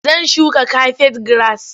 Zan shuka kafet giras.